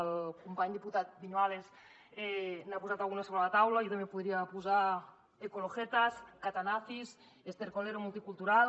el company diputat viñuales n’ha posat alguna sobre la taula jo també podria posar ecologetas colero multicultural